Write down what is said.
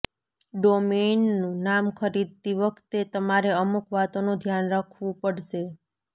ડોમેઈનનું નામ ખરીદતી વખતે તમારે અમુક વાતોનું ધ્યાન રખવું પડશે